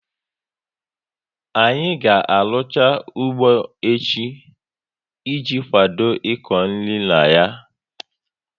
Anyị ga arucha ụgbọ echi i ji kwadobe iko nri na ya